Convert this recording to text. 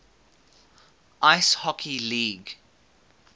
ice hockey league